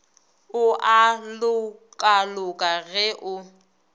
o a lokaloka ge o